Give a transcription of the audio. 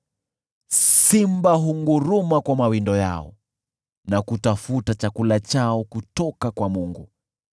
Simba hunguruma kwa mawindo yao, na kutafuta chakula chao kutoka kwa Mungu.